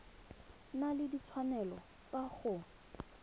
na le ditshwanelo tsa go